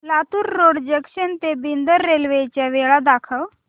Latur road junction ते Bidar railway च्या वेळा दाखव